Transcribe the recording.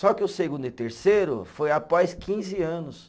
Só que o segundo e o terceiro foi após quinze anos.